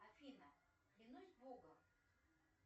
афина клянусь богом